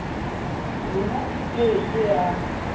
rona e ke ke ya